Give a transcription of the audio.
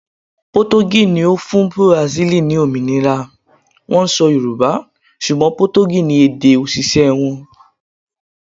Potogí ni ó fún Bùràsílì ni òmìnira, wón ń sọ Yorùbá, ṣùgbọ́n Potogí ni èdè òṣìṣẹ́ wọn.